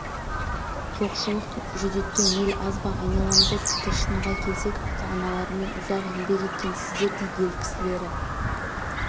жоқшылық жүдеткен ел аз ба айна-ламызда тіпті шынға келсек ата-аналарымен ұзақ еңбек еткен сіздердей ел кісілері